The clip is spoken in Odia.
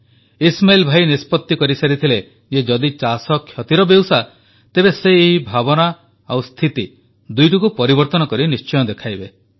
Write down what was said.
ଇସ୍ମାଇଲ୍ ଭାଇ ନିଷ୍ପତ୍ତି କରିସାରିଥିଲେ ଯେ ଯଦି ଚାଷ କ୍ଷତିର ବେଉସା ତେବେ ସେ ଏହି ଭାବନା ଓ ସ୍ଥିତି ଦୁଇଟିକୁ ପରିବର୍ତ୍ତନ କରି ଦେଖାଇବେ